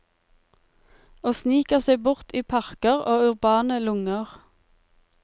Og sniker seg bort i parker og urbane lunger.